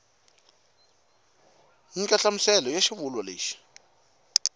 nyika nhlamuselo ya xivulwa lexi